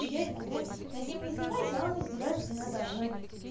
я иногда над ним издеваюсь а он издевается надо мной